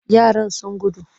Yaran sun gudu.